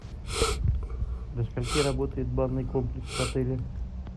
до скольки работает банный комплекс в отеле